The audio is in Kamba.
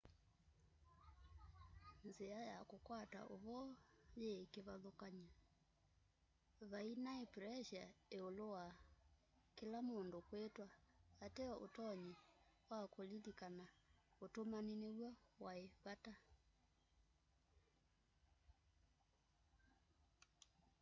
nzia ya kukwata uvoo yii kivathukany'o vai nai pressure iulu wa kila mundu kwitwa ateo utonyi wa kulilikana utumani niw'o wai vata